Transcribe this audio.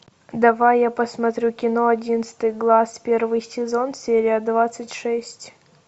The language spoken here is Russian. давай я посмотрю кино одиннадцатый глаз первый сезон серия двадцать шесть